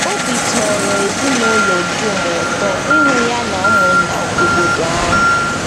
Obi tọrọ ezinụlọ dum ụtọ ịhụ ya na ụmụnna obodo ahụ.